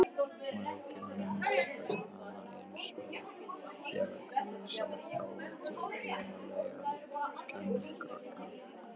Mæðgurnar umgengust hann einsog bjargarlausan og dálítið hvimleiðan kenjakrakka.